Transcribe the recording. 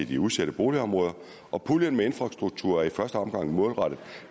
de udsatte boligområder og puljen med infrastruktur er i første omgang målrettet